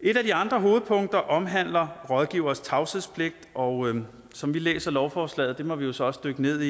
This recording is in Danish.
et af de andre hovedpunkter omhandler rådgivers tavshedspligt og som vi læser lovforslaget og det må vi så også dykke ned